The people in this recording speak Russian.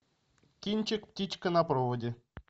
кинчик птичка на проводе